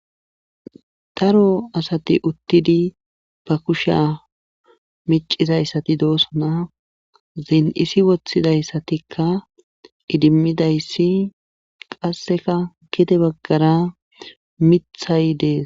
ro asati uttidi ba kusha micizayssati doosona zin7isi wothidayssatikka idimmidayssi qasseka gide baggara mithay dees